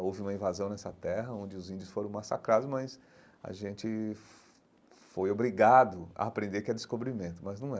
Houve uma invasão nessa terra, onde os índios foram massacrados, mas a gente foi foi obrigado a aprender que é Descobrimento, mas não é.